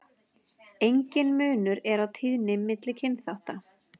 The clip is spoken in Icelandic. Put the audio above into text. Enginn munur er á tíðni milli kynþátta.